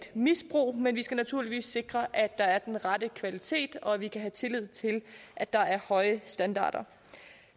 misbrug men vi skal naturligvis sikre at der er den rette kvalitet og at vi kan have tillid til at der er høje standarder